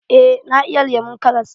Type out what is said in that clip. Eh na iya lemon karas.